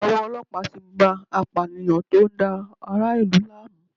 Owó ọlọ́pàá tí bá a apànìyàn tó ń dá ara ìlú láàmú.